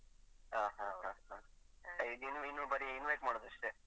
ಹ ಹ ಹ ಹ. ಸರಿ ಇನ್ನು ಇನ್ನು ಬರಿ invite ಮಾಡುದು ಅಷ್ಟೇ.